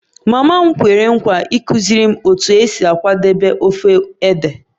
Mama m kwere nkwa ịkụziri m otu esi akwadebe ofe ede